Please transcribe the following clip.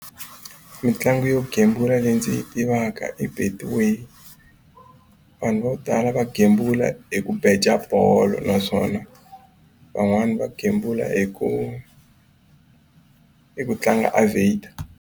Mitlangu yo gembula leyi ndzi yi tivaka i betway vanhu vo tala va gembula hi ku beja bolo naswona van'wani va gembula hi ku hi ku tlanga aviator.